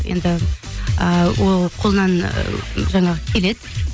енді ыыы ол қолынан жаңағы келеді